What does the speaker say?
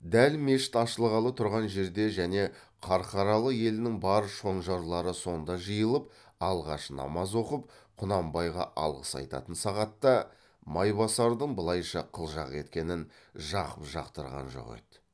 дәл мешіт ашылғалы тұрған жерде және қарқаралы елінің бар шонжарлары сонда жиылып алғаш намаз оқып құнанбайға алғыс айтатын сағатта майбасардың былайша қылжақ еткенін жақып жақтырған жоқ еді